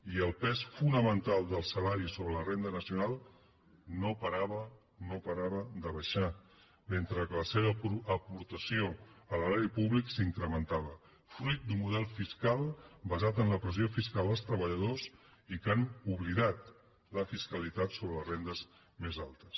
i el pes fonamental dels salaris sobre la renda nacional no parava no parava de baixar mentre que la seva aportació a l’erari públic s’incrementava fruit d’un model fiscal basat en la pressió fiscal als treballadors i que han oblidat la fiscalitat sobre les rendes més altes